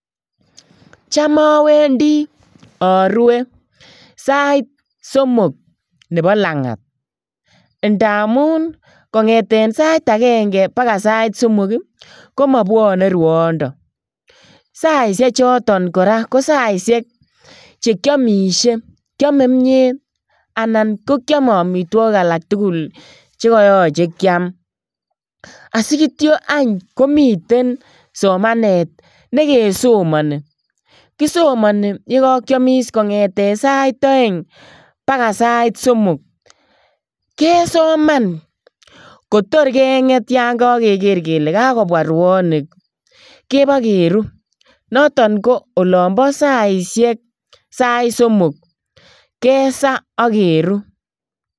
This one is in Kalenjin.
Cham awendi arue sait somok nebo langat ndamun kongete sait agenge paka sait somok komapwane ruondo. Saisiechoto kora ko saisiek che kiamisie kiame kimyet anan ko kiame amitwogik alak tugul che koyoche kiam. Asigitio any komiten somanet negesomani. Kisomani yekakiamis kongete sait aeng paga sait somok. Kesoman kotor kenget yon kageger kele kagopwa ruonik, keba keru. Noton ko olobo saisiek, sait somok kesa ak keru